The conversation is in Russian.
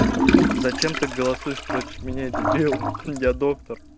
зачем ты голосуешь против меня дебил я доктор